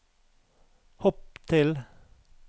hopp til